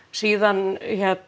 síðan